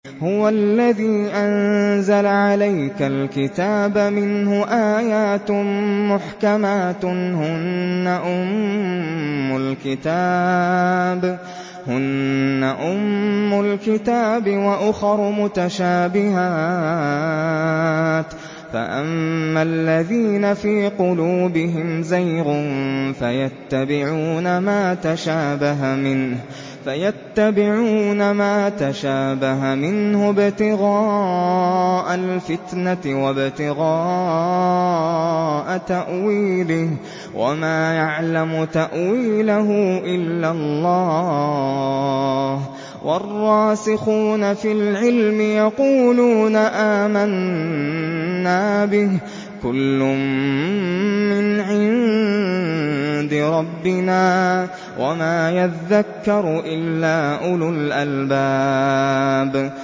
هُوَ الَّذِي أَنزَلَ عَلَيْكَ الْكِتَابَ مِنْهُ آيَاتٌ مُّحْكَمَاتٌ هُنَّ أُمُّ الْكِتَابِ وَأُخَرُ مُتَشَابِهَاتٌ ۖ فَأَمَّا الَّذِينَ فِي قُلُوبِهِمْ زَيْغٌ فَيَتَّبِعُونَ مَا تَشَابَهَ مِنْهُ ابْتِغَاءَ الْفِتْنَةِ وَابْتِغَاءَ تَأْوِيلِهِ ۗ وَمَا يَعْلَمُ تَأْوِيلَهُ إِلَّا اللَّهُ ۗ وَالرَّاسِخُونَ فِي الْعِلْمِ يَقُولُونَ آمَنَّا بِهِ كُلٌّ مِّنْ عِندِ رَبِّنَا ۗ وَمَا يَذَّكَّرُ إِلَّا أُولُو الْأَلْبَابِ